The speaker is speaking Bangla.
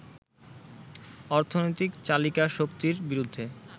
অর্থনৈতিক চালিকা শক্তির বিরুদ্ধে